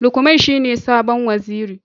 Lukman shine sabon Waziri.